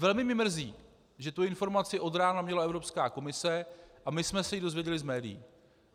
Velmi mě mrzí, že tu informaci od rána měla Evropská komise a my jsme se ji dozvěděli z médií.